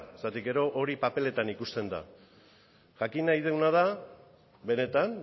zeren gero hori paperetan ikusten da jakin nahi duguna da benetan